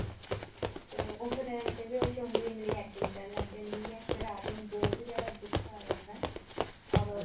ਚਲੋ ਉਸ ਵੇਲੇ ਮਤਲਬ ਬੇਹੋਸ਼ ਹੋਣ ਦੀ ਇਮਲੀ acting ਕਰਨ ਲੱਗ ਜਾਂਦੀ ਐ ਫੇਰ ਆਟੋ ਨੂੰ ਬਹੁਤ ਜਿਆਦਾ ਗੁੱਸਾ ਆ ਜਾਂਦਾ or